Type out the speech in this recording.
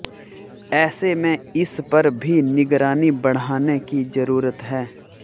ऐसे में इस पर भी निगरानी बढ़ाने की जरूरत है